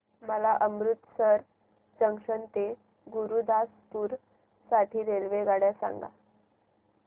मला अमृतसर जंक्शन ते गुरुदासपुर साठी रेल्वेगाड्या सांगा